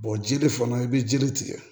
jiri fana i bɛ jiri tigɛ